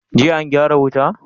Jiya an gyara wuta?